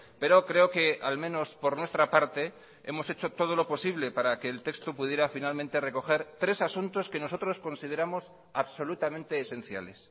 pero creo que al menos por nuestra parte hemos hecho todo lo posible para que el texto pudiera finalmente recoger tres asuntos que nosotros consideramos absolutamente esenciales